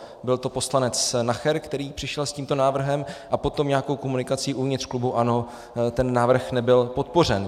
Byl to poslanec Nacher, který přišel s tímto návrhem, a potom nějakou komunikací uvnitř klubu ANO ten návrh nebyl podpořen.